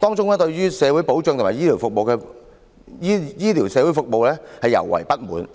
當中對社會保障和醫療社會服務尤為不滿。